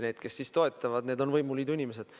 Need, kes siis toetavad, on võimuliidu inimesed.